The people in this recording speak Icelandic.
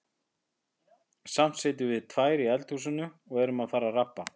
Samt sitjum við tvær í eldhúsinu og erum að fara að rabba.